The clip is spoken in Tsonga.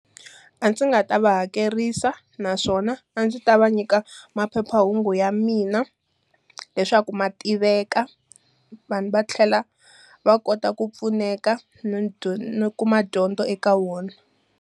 A ndzi nga ta va hakerisa naswona a ndzi ta va nyika maphephahungu ya mina. Leswaku ma tiveka, vanhu va tlhela va kota ku pfuneka no no kuma dyondzo eka wona.